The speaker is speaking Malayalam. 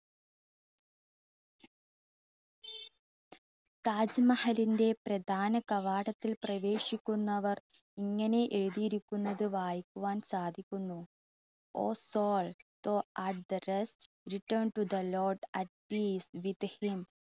താജ്മഹലിൻ്റെ പ്രധാന കവാടത്തിൽ പ്രവേശിക്കുന്നവർ ഇങ്ങനെ എഴുതിയിരിക്കുന്നത് വയ്ക്കുവാൻ സാധിക്കുന്നു. oh soul throgh return to the lord at these with him